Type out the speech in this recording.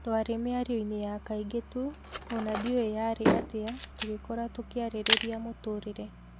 Tũarĩ mĩario-inĩ ya kaingĩ tu, ũna ndiũĩ yarĩ atia, tũgĩkora tũkiarĩrĩria mũtũrĩrĩ.